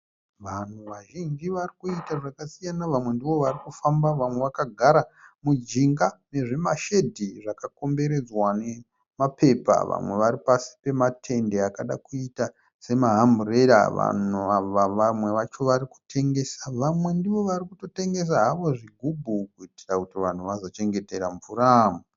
Vanhu vazhinji varikuita zvakasiyana. Vamwe ndivo varikufamba vamwe vagarara mujinga mezvimashedhi zvakakomberedzwa nemapepa. Vamwe varipasi pematende akada kuita semaamburera, vanhu ava vamwe vacho varikutengesa, vamwe ndivo varikutotengesa havo zvigubhu kuitira kuti vanhu vazochengetera mvura.